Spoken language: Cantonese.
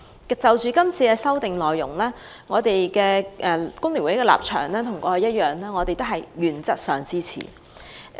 對於是次修訂，工聯會與以往一樣，都是原則上支持。